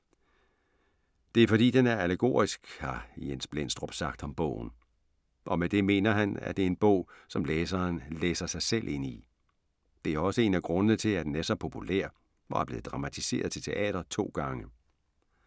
Det er fordi den er allegorisk, har Jens Blendstrup sagt om bogen. Og med det mener han, at det er en bog, som læseren læser sig selv ind i. Det er også en af grundene til, at den er så populær og er blevet dramatiseret til teater to gange.